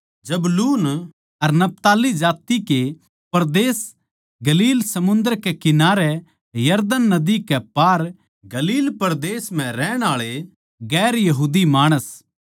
जबूलून अर नप्ताली जात्ति कै परदेस गलील समुन्दर कै किनारे यरदन नदी के पार गलील परदेस म्ह रहण आळे गैर यहूदी माणस